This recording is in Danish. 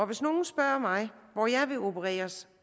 hvis nogen spørger mig hvor jeg vil opereres